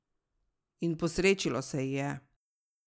In posrečilo se ji je!